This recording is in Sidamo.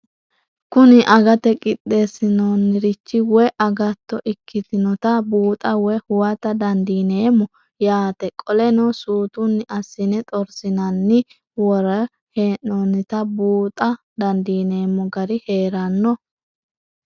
Kuni agate qixesinaniricho woye agato ikitinotna buuxa woyi huwata dandinemo yaate qoleno sutuni asine xorsinaninna woray henonitana buuxa dandinemo gari heerano?